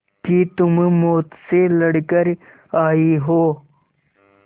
कि तुम मौत से लड़कर आयी हो